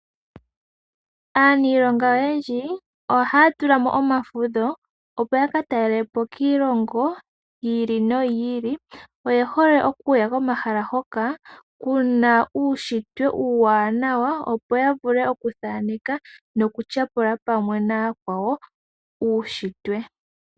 Aaniilonga oyendji ohaa tula mo omafudho, opo ya ka talele po kiilongo yi ili noyi ili. Oye hole okuya komahala hoka ku na uunshitwe uuwanawa, opo ya vule okuthaneka nokutyapula pamwe nayakwawo, uushitwe.